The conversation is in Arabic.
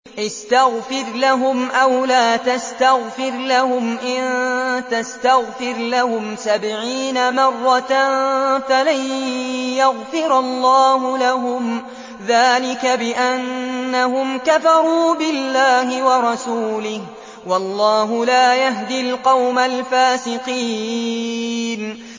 اسْتَغْفِرْ لَهُمْ أَوْ لَا تَسْتَغْفِرْ لَهُمْ إِن تَسْتَغْفِرْ لَهُمْ سَبْعِينَ مَرَّةً فَلَن يَغْفِرَ اللَّهُ لَهُمْ ۚ ذَٰلِكَ بِأَنَّهُمْ كَفَرُوا بِاللَّهِ وَرَسُولِهِ ۗ وَاللَّهُ لَا يَهْدِي الْقَوْمَ الْفَاسِقِينَ